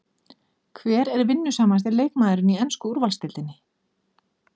Hver er vinnusamasti leikmaðurinn í ensku úrvalsdeildinni?